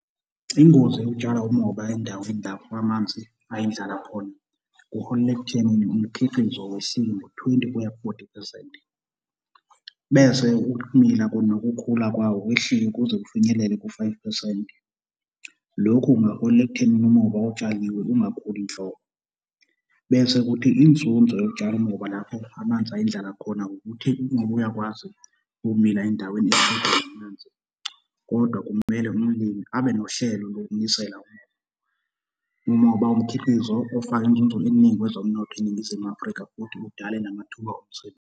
Ingozi yokutshala umoba endaweni lapho amanzi ayindlala khona, kuholela ekuthenini umkhiqizo wehlike ngo-twenty kuya ku-forty phesenti bese ukumila nokukhula kwawo kwehlike kuze kufinyelele ku-five phesenti. Lokhu kungaholela ekuthenini umoba otshaliwe ungakhuli nhlobo. Bese kuthi inzinzo yokutshala umoba lapho amanzi ayindlala khona ukuthi umoba uyakwazi ukumila endaweni kodwa kumele umlimi abe nohlelo lokunisela umoba. Umoba umkhiqizo ofaka inzunzo eningi kwezomnotho eNingizimu Afrika futhi udale namathuba omsebenzi.